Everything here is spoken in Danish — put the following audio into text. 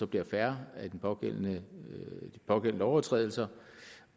bliver færre af de pågældende lovovertrædelser